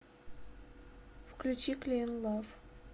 включи клин лав